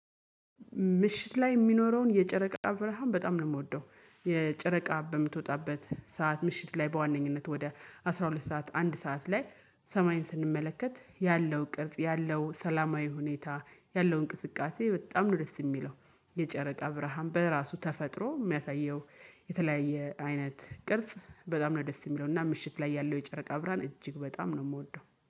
ምሽት ላይ የሚኖረውን የጨረቃ ብርሃን በጣም ነው የምወደው። የጨረቃ በምትወጣበት ሰዓት ምሽት ላይ በዋነኝነት ወደ አስራ ሁለት ሰዓት አንድ ሰዓት ላይ ሰማይን ስንመለከት ያለው ቅርጽ ያለው ሰላማዊ ሁኔታ ያለው እንቅስቃሴ በጣም ነው ደስ የሚለው። የጨረቃ ብርሃን በራሱ ተፈጥሮ የሚያሳየው። የተለያየ አይነት ቅርጽ በጣም ነው ደስ የሚለው እና ምሽት ላይ ያለው የጨረቃ አብራን እጅግ በጣም ነው የምወደው